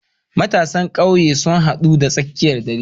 matsafan kauye suna haduwa da tsakar dare